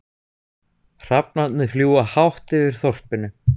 Hrafnarnir fljúga hátt yfir þorpinu.